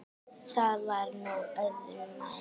Það var nú öðru nær.